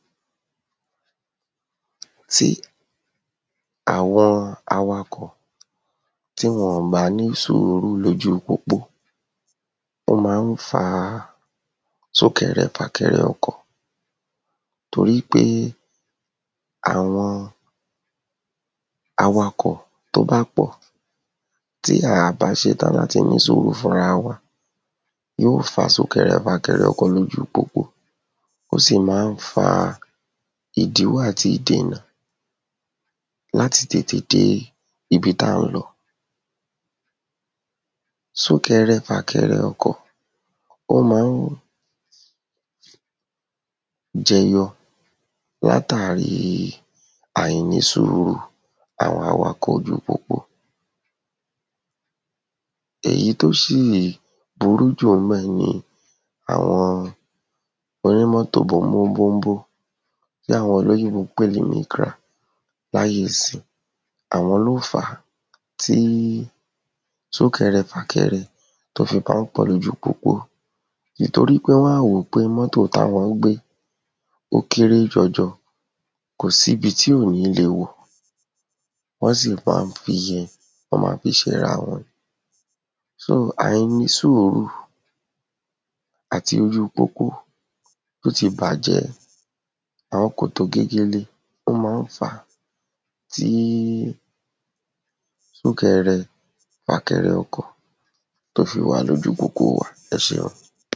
Sí àwọn awakọ̀. Tí wọn-ọ̀n bá ní sùúrù lójú pópó. Ó ma ń fa súnkẹrẹ-fàkẹrẹ ọkọ̀. Wípé àwọn awakọ̀ tó bá pọ̀. Tí a à bá se tán láti ní sùúrù fúnra wa, yó fa súnkẹrẹ-fàkẹrẹ ọkọ̀ lójú pópó. Ó sì má ń fa ìdíwọ́ àti ìdènà lamti tètè dé ibi tá ń lọ. Súnkẹrẹ-fàkẹrẹ ọkọ̀ ó ma ń jẹyọ látàri àìní sùúrù àwọn awakọ̀ ojú pópó. Èyí tó sì burú jù ńbẹ̀ ni àwọn oní mọ́tò bóńbó bóńbó. Tí àwọn olóyìnbó ń pè ní micra láyé ìsin Àwọn ló ń fá tí súnkẹrẹ-fàkẹrẹ tó fi bá ọ̀pọ̀ lójú pópó. Ìtorípé wọ́n á wó pé mọ́tò tí àwọ́n gbé ó kéré jọjọ. Kò síbi tí ò ní le wọ̀. Wọ́n sì má ń fi ìyẹn wọ́n má fí ssera wọn. so àìní sùúrù àti ojú pópó tó ti bàjẹ́. Àwọn kòtò gegele ó má ń fá tí súnkẹrẹ-fàkẹrẹ ọkọ̀ tó fi wà lójú pópó wa. Ẹ seun.